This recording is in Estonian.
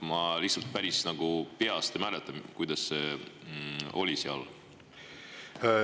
Ma peast ei mäleta, kuidas see seal on.